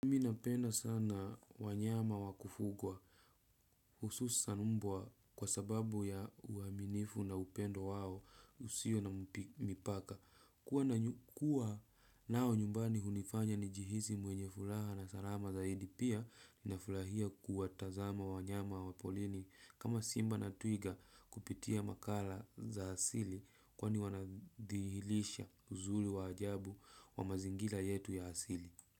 Mimi napenda sana wanyama wa kufugwa. Hususan mbwa kwa sababu ya uaminifu na upendo wao usio na mipaka. Kuwa nao nyumbani hunifanya nijihisi mwenye furaha na salama zaidi. Pia ninafurahia kuwatazama wanyama wa porini. Kama simba na twiga kupitia makala za asili kwani wanadhihirisha uzuri wa ajabu wa mazingira yetu ya asili.